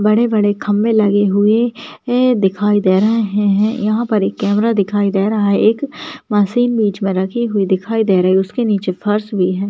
बड़े-बड़े खम्बे लगे हुए दिखाई दे रहे हैं यह पे एक कैमरा दिखाई दे रहा है एक मशीन बीच में रखी हुई दिखाई दे रही है उसके नीचे फर्श भी है।